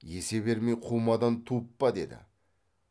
есе бермей қумадан туып па деді